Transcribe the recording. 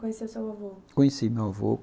Conheceu seu avô? Conheci meu avô.